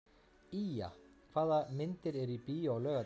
Ýja, hvaða myndir eru í bíó á laugardaginn?